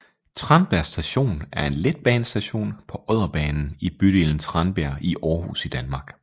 Tranbjerg Station er en letbanestation på Odderbanen i bydelen Tranbjerg i Aarhus i Danmark